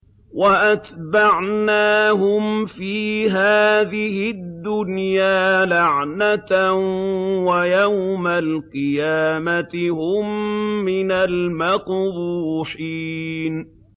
وَأَتْبَعْنَاهُمْ فِي هَٰذِهِ الدُّنْيَا لَعْنَةً ۖ وَيَوْمَ الْقِيَامَةِ هُم مِّنَ الْمَقْبُوحِينَ